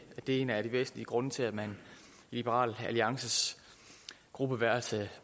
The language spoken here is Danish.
er en af de væsentlige grunde til at man i liberal alliances gruppeværelse